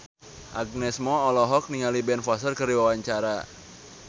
Agnes Mo olohok ningali Ben Foster keur diwawancara